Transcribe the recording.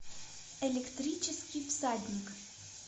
электрический всадник